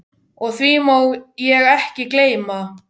Og því má ég ekki gleyma.